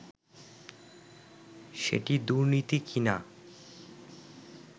সেটি দুর্নীতি কি-না